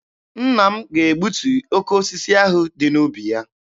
Nna m ga-egbutu oke osisi ahụ dị n'ubi ya.